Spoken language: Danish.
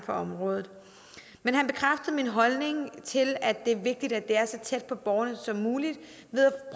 for området men han bekræftede min holdning til at det er vigtigt at det er så tæt på borgerne som muligt ved at